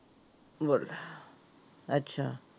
ਬੱਲੇ ਅੱਛਾ।